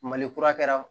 Malikura kɛra